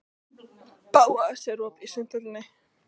Bóas, er opið í Sundhöllinni?